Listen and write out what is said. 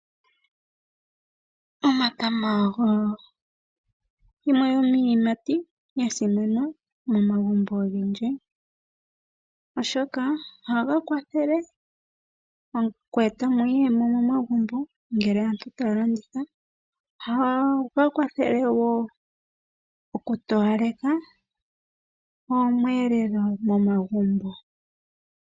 Omatama ogo yimwe yomiiyimati ya simana momagumbo ogendji, oshoka ohaga kwathele oku eta mo iiyemo momagumbo ngele aantu taya landitha. Ohaga kwathele wo okutowaleka omweelelo momagumbo.